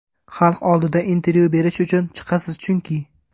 Xalq oldiga intervyu berish uchun chiqasiz chunki.